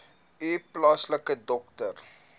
u plaaslike dokter